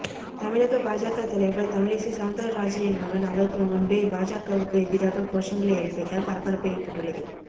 தமிழக பாஜக தலைவர் தமிழிசை செளந்திரராஜனின் மகன் அவருக்கு முன்பே பாஜகவுக்கு எதிராக கோஷங்களை எழுப்பியதால் பரபரப்பு ஏற்பட்டுள்ளது